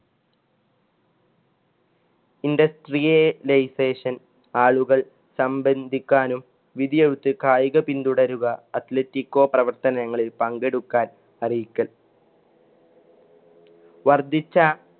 Industrialization ആളുകൾ സമ്പദിക്കാനും വിധിയെഴുത്ത് കായിക പിൻതുടരുക atheletico പ്രവര്‍ത്തനങ്ങളില്‍ പങ്കെടുക്കാന്‍ അറിയിക്കൽ വർധിച്ച